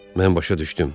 Mən başa düşdüm.